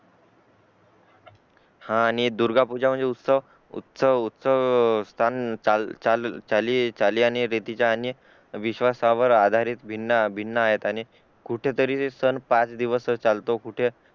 हा आणि दुर्गा पूजा म्हणजे उत्सव उत्सव स्थाहन चाली आणि रीतीचा आणि विश्वास वर आधारित भिन्न आहेत आणि कुठे तरी सण पाच दिवसच चालतो